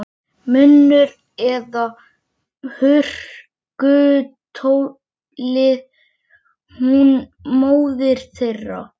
Norðanbylurinn sem gnauðað hefur undanfarinn sólarhring lemur þekjuna.